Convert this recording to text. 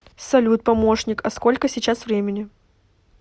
салют помощник а сколько сейчас времени